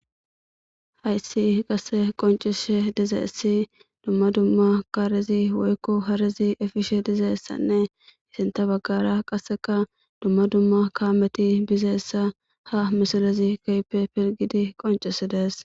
hayssi qasse qoncishe dizaessi dumma dumma kaarezi woykko harezi efishe dizaessanne isinta baggara qasseka dumma dumma kaameti bizeessa ha misilezi kapepelgidi qoncisi dees